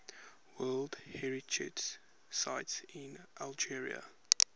world heritage sites in algeria